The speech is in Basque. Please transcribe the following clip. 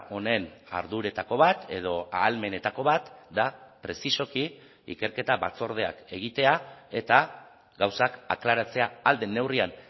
honen jardueretako bat edo ahalmenetako bat da prezisoki ikerketa batzordeak egitea eta gauzak aklaratzea ahal den neurrian